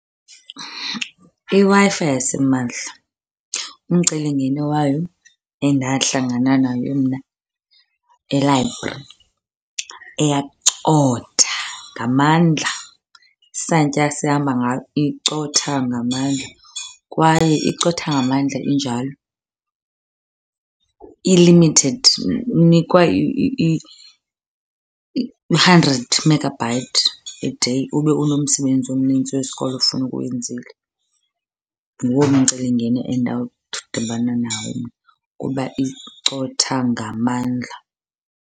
IWi-Fi yasimahla umcelimngeni wayo endahlangana nayo mna e-library, iyacotha ngamandla. Isantya esihamba ngayo icotha ngamandla kwaye icotha ngamandla injalo i-limited. Unikwa u-hundred megabyte a day ube unomsebenzi omnintsi wesikolo okufuneka uwenzile. Nguwo umcelimngeni endadibana nawo mna kuba icotha ngamandla.